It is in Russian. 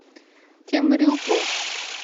темрюку